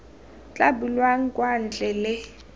tla bulwang kwa ntle le